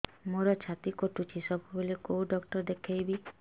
ମୋର ଛାତି କଟୁଛି ସବୁବେଳେ କୋଉ ଡକ୍ଟର ଦେଖେବି